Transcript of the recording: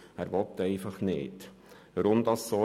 er will keine Ausnüchterungsstelle.